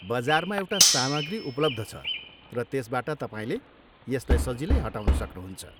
बजारमा एउटा सामग्री उपलब्ध छ, र त्यसबाट तपाईँले यसलाई सजिलै हटाउन सक्नुहुन्छ।